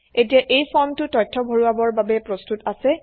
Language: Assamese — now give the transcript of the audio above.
এতিয়া এই ফৰ্মটো তথ্য ভৰোৱাবৰ বাবে প্ৰস্তুত আছে